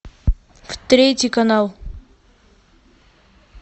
в третий канал